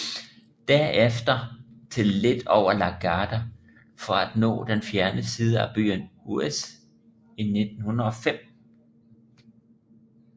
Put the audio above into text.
Derefter til lidt over La Garde for at nå den fjerne side af byen Huez i 1905